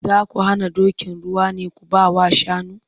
Za ku hana dokin ruwa ne ku ba wa shanu?